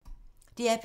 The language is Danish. DR P2